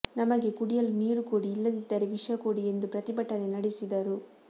ನಮಗೆ ಕುಡಿಯಲು ನೀರು ಕೊಡಿ ಇಲ್ಲದಿದ್ದರೆ ವಿಷ ಕೊಡಿ ಎಂದು ಪ್ರತಿಭಟನೆ ನಡೆಸಿದರು